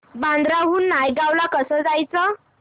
बांद्रा हून नायगाव ला कसं जायचं